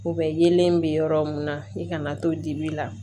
U bɛ yelen bɛ yɔrɔ mun na i kana to dibi la